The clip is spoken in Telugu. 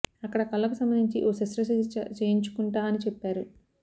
అక్కడ కళ్లకు సంబంధించి ఓ శస్త్ర చికిత్స చేయించుకుంటా అని చెప్పారు